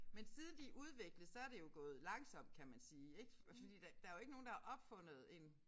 Men siden de udviklede så det jo gået langsomt kan man sige ik fordi der der jo ikke nogen der har opfundet en